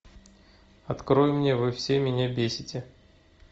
открой мне вы все меня бесите